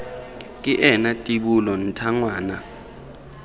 ke ena tibola ntha ngwana